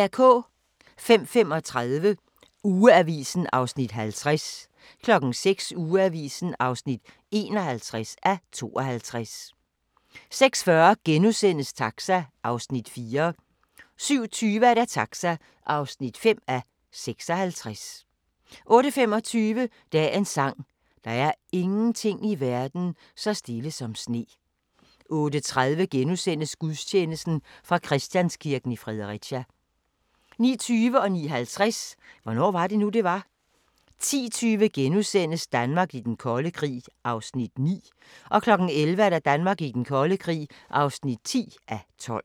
05:35: Ugeavisen (50:52) 06:00: Ugeavisen (51:52) 06:40: Taxa (4:56)* 07:20: Taxa (5:56) 08:25: Dagens sang: Der er ingenting i verden så stille som sne 08:30: Gudstjeneste fra Christianskirken, Fredericia * 09:20: Hvornår var det nu, det var? * 09:50: Hvornår var det nu, det var? * 10:20: Danmark i den kolde krig (9:12)* 11:00: Danmark i den kolde krig (10:12)